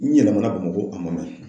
N yɛlɛmana Bamako, a ma mɛn.